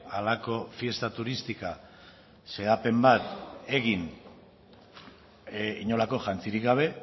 halako fiesta turística xedapen bat egin inolako jantzirik gabe